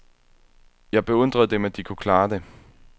Jeg beundrede dem, at de kunne klare det.